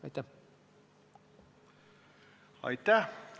Aitäh!